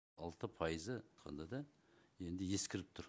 алты пайызы айтқанда да енді ескіріп тұр